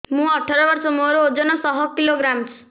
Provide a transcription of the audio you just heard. ମୁଁ ଅଠର ବର୍ଷ ମୋର ଓଜନ ଶହ କିଲୋଗ୍ରାମସ